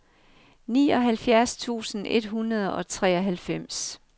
nioghalvfjerds tusind et hundrede og treoghalvfems